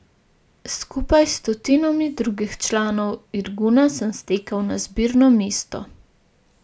Skupaj s stotinami drugih članov Irguna sem stekel na zbirno mesto.